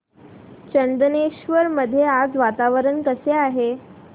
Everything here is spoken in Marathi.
चंदनेश्वर मध्ये आज वातावरण कसे आहे